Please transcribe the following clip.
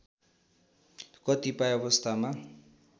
कतिपय अवस्थमा